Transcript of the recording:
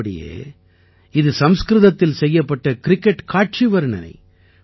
உள்ளபடியே இது சம்ஸ்கிருதத்தில் செய்யப்பட்ட கிரிக்கெட் காட்சி வர்ணனை